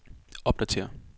opdatér